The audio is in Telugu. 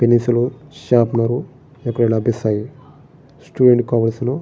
పెన్సిలు షార్ప్నరు ఇక్కడ లభిస్థాయి స్టూడెంట్ కి కావలసిన.